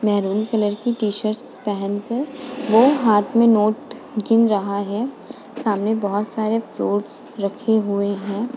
Maroon colour की t-shirt पहनकर वो हाथ में नोट गिन रहा है। सामने बहोत सारे फ्रूट्स रखे हुए हैं।